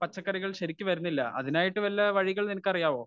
പച്ചക്കറികൾ ശരിക്കു വരുണില്ല അതിനായിട്ട് വല്ല വഴികൾ നിനക്കറിയാവോ?